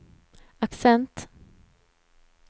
accent